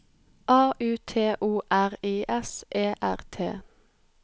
A U T O R I S E R T